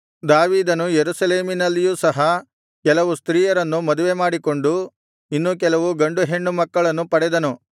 ದಾವೀದನು ಯೆರೂಸಲೇಮಿನಲ್ಲಿಯೂ ಸಹ ಕೆಲವು ಸ್ತ್ರೀಯರನ್ನು ಮದುವೆಮಾಡಿಕೊಂಡು ಇನ್ನೂ ಕೆಲವು ಗಂಡು ಹೆಣ್ಣು ಮಕ್ಕಳನ್ನು ಪಡೆದನು